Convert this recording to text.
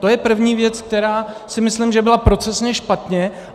To je první věc, která si myslím, že byla procesně špatně.